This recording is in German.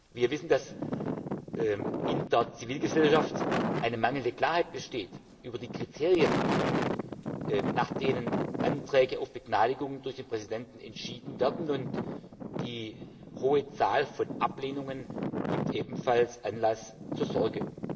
Wir wissen, dass in der Zivilgesellschaft mangelnde Klarheit besteht über die Kriterien, nach denen Anträge auf Begnadigung durch den Präsidenten entschieden werden, und die hohe Zahl von Ablehnungen gibt ebenfalls Anlass zur Sorge.